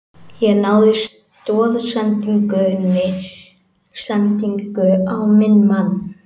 Ég náði stoðsendingu á minn mann.